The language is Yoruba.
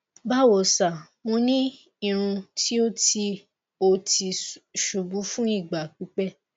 bawo sir mo ni irun ti o ti o ti ṣubu fun igba pipẹ